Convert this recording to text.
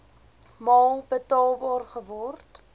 maal betaalbaar geword